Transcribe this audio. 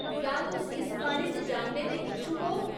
क्या तुस इस बारे च जानने दे इच्छुक ओ ?